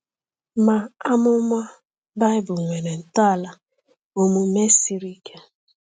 Ma amụma Baịbụl nwere ntọala omume siri ike.